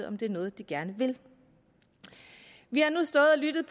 om det er noget de gerne vil vi har nu stået og lyttet